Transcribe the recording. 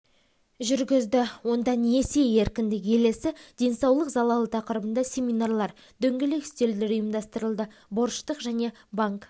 жүргізді онда несие еркіндік елесі денсаулық залалы тақырыбында семинарлар дөңгелек үстелдер ұйымдастырылды борыштық және банк